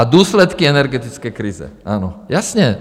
A důsledky energetické krize, ano, jasně.